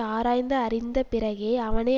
ஆராய்ந்து அறிந்த பிறகே அவனை